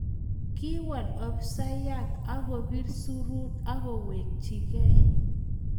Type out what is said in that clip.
Kiwol afisayat akobir surut akowechikei